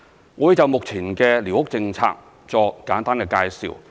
我會就目前的寮屋政策作簡單介紹。